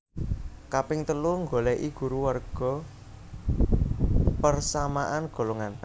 Kaping telu nggoleki guru warga persamaan golongan